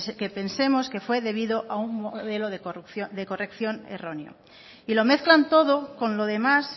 que pensemos que fue debido a un modelo de corrección erróneo y lo mezclan todo con los demás